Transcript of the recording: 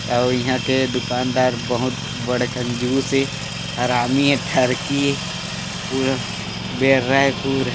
अउ ईहा के दुकानदार बहुत बड़े कंजूश ऐ हरामी ऐ ठरकी ऐ पूरा बेर्रा ऐ पूरा--